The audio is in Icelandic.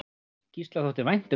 Gísla þótti vænt um þessa borg.